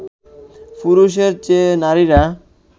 পুরুষের চেয়ে নারীরা